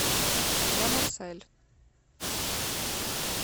ля марсель